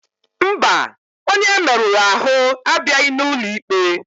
Mba, onye e merụrụ ahụ abịaghị n'ụlọ ikpe.